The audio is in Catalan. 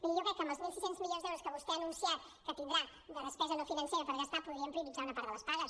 miri jo crec que amb els mil sis cents milions d’euros que vostè ha anunciat que tindrà de despesa no financera per gastar podríem prioritzar una part de les pagues